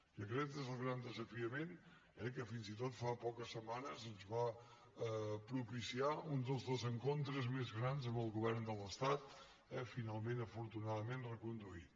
i aquest és el gran desafiament eh que fins i tot fa poques setmanes ens va propiciar un dels desencontres més grans amb el govern de l’estat finalment afortunadament reconduït